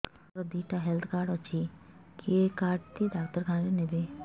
ସାର ମୋର ଦିଇଟା health card ଅଛି କେ କାର୍ଡ ଟି ଡାକ୍ତରଖାନା ରେ ନେବେ